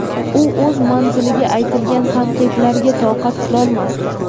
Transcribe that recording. u o‘z manziliga aytilgan tanqidlarga toqat qilolmasdi.